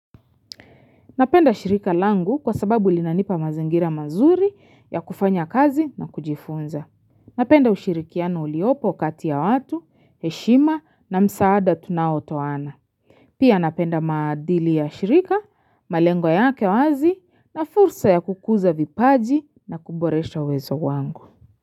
Napenda shirika langu kwa sababu linanipa mazingira mazuri ya kufanya kazi na kujifunza. Napenda ushirikiano uliopo kati ya watu, heshima na msaada tunaotoana. Pia napenda maadili ya shirika, malengo yake wazi na fursa ya kukuza vipaji na kuboresha uwezo wangu.